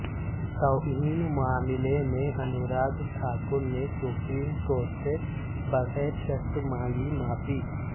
توہین معاملے میں انوراگ ٹھاکر نے سپریم کورٹ سے بغیر شرط مانگی معافی